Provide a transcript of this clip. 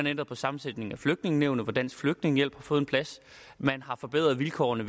ændret på sammensætningen af flygtningenævnet hvor dansk flygtningehjælp har fået plads man har forbedret vilkårene